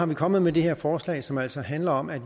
vi kommet med det her forslag som altså handler om at